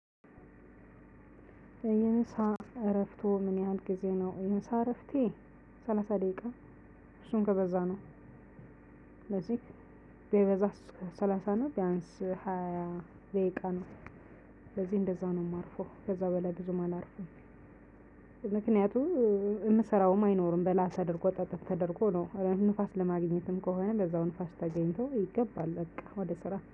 የምሳ እረፍትዎ ምን ያህል ጊዜ ነው? የምሳ እረፍቴ ስላሳ ደቂቃ እሱን ከበዛ ነው። ስለዚህ ቢበዛ ሰላሳ ነው ቢያንስ ሃያ ደቂቃ ነው። ስለዚህ እንደዛ ነው የማርፈው ከዛ በላይ ብዙም አላርፍም። የምሰራውም አይኖርም በላ ተድርጎ ጥትት ተደርጎ ነው ንፋስ ለማግኘትም ከሆነ በዛው ንፋስ ተገኝቶ ይገባል በቃ ወደ ስራ